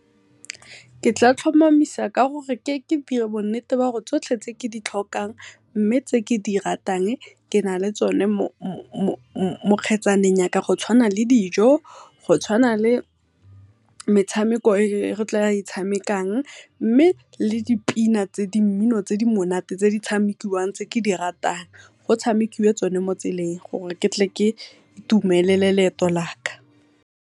Ke tla tlhomamisa ka gore ke dire bo nnete ba gore tsotlhe tse ke di tlhokang, mme tse ke di ratang ke na le tsone mo kgetsaneng yaka go tshawana le dijo, go tshwana le metsameko e re tla e tshamekang mme le di pina tse di mmino tse di monate tse di tshamekiwang tse ke di ratang, go tshamekiwe tsone mo tseleng gore ke tle ke itumelele leeto laka.